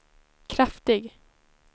kraftig